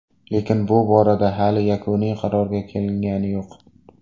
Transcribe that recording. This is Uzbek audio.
Lekin bu borada hali yakuniy qarorga kelingani yo‘q.